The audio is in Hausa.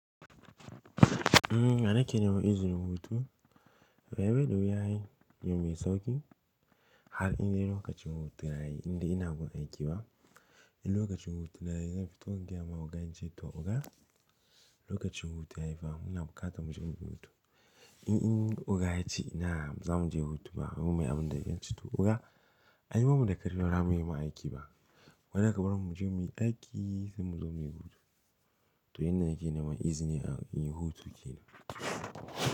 Umm, ya nake niman izinin hutu. Ai bai da wuya ai abu mai sauki har in dai lokacin hutuna yayi har indai ina gun aiki ba. In lokacin hutu na yayi, zan fito in gaya ma oga in ce to oga, lokacin hutu yayi fa muna buƙata muje muyi hutu. In, in oga ya ce ina baza muje hutu ba mu mai abin da zan ce to oga, ai bamu da ƙarfin ramu ma aiki ba. Gwanda ka barmu mu je muyi aiki sai mu zo muyi hutu. To yanda nake neman izini a inyi hutu kenan.